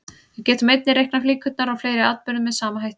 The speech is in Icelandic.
Við getum einnig reiknað líkurnar á fleiri atburðum með sama hætti.